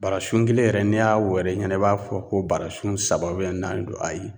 Barasun kelen yɛrɛ n'i y'a wɛrɛ i ɲɛna i b'a fɔ ko barasun saba naani don ayi